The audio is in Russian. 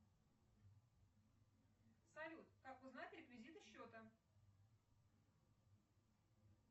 салют как узнать реквизиты счета